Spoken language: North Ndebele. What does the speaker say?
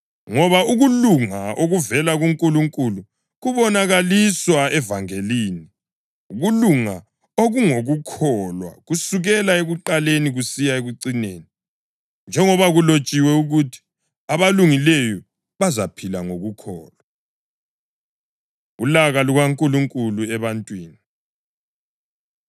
Ngoba ukulunga okuvela kuNkulunkulu kubonakaliswa evangelini, ukulunga okungokukholwa kusukela ekuqaleni kusiya ekucineni, njengoba kulotshiwe ukuthi: “Abalungileyo bazaphila ngokukholwa.” + 1.17 UHabhakhukhi 2.4 Ulaka LukaNkulunkulu Ebantwini